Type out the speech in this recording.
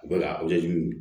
Bɛɛ ka o laɲini